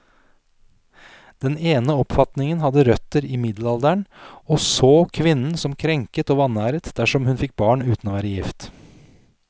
Den ene oppfatningen hadde røtter i middelalderen, og så kvinnen som krenket og vanæret dersom hun fikk barn uten å være gift.